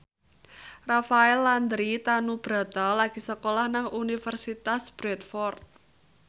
Rafael Landry Tanubrata lagi sekolah nang Universitas Bradford